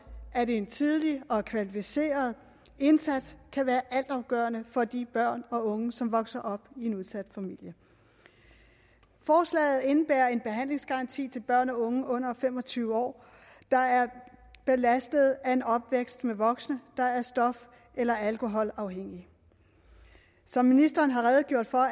at en tidlig og kvalificeret indsats kan være altafgørende for de børn og unge som vokser op i en udsat familie forslaget indebærer en behandlingsgaranti til børn og unge under fem og tyve år der er belastet af en opvækst med voksne der er stof eller alkoholafhængige som ministeren har redegjort for